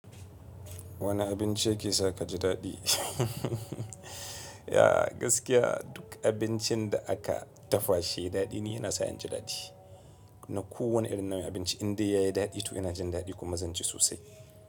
Wane abinci yake sa ka ji daɗi? Duk abincin da aka dafa shi ya yi daɗi ni yana sa ni jin daɗi. Na ko wani irin nau'in abinci indai ya yi daɗi to yana jin daɗi kuma zan ci sosai.